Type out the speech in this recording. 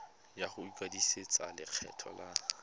ya go ikwadisetsa lekgetho la